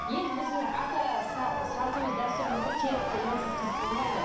енді біздің ата салтымыз дәстүріміз ғой керек қой онсыз қызық болмайды